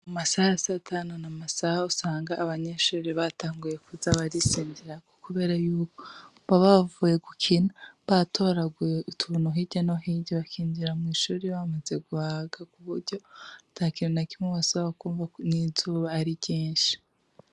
Amasaha ya satanu ni amasaha usanga abanyeshuri batanguye kuza barisinzirirako kubera yuko baba bavuye gukina, batoraguye utuntu hirya no hirya bakinjira mw'ishure bamaze guhaga kuburyo atakintu na kimwe basubira kwumva, n'izuba ari ryinshi.